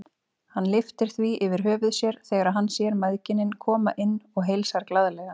Hann lyftir því yfir höfuð sér þegar hann sér mæðginin koma inn og heilsar glaðlega.